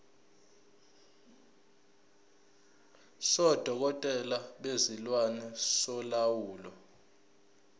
sodokotela bezilwane solawulo